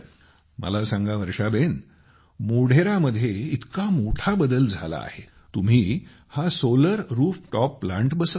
मला सांगामोढेरामध्ये इतका मोठा बदल झाला आहे तुम्ही हा सोलर रूफटॉप प्लांट बसवला